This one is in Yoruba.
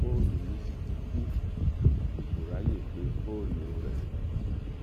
fóònù mi sì ti kú n kò ráàyè pé fóònù rẹ